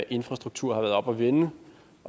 infrastruktur har været oppe at vende